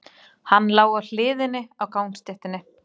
Hann lá á hliðinni á gangstéttinni.